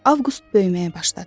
Avqust böyüməyə başladı.